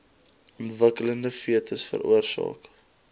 ontwikkelende fetus veroorsaak